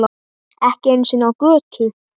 Ekki einu sinni á götu.